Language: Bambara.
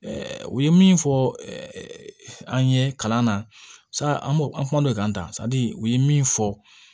u ye min fɔ an ye kalan na an b'o an kum'o kan tan u ye min fɔ